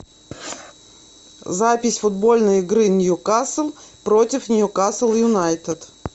запись футбольной игры ньюкасл против ньюкасл юнайтед